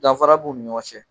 Danfara b'u ni ɲɔgɔn cɛ.